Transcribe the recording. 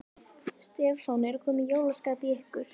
Stefán: Er komið jólaskap í ykkur?